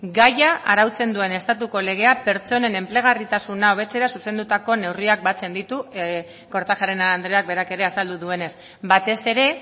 gaia arautzen duen estatuko legea pertsonen enplegagarritasuna hobetzera zuzendutako neurriak batzen ditu kortajarena andreak berak ere azaldu duenez batez ere